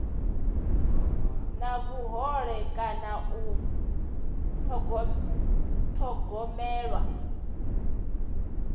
na vhuhole kana u thogomelwa